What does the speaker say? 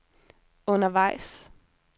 undervejs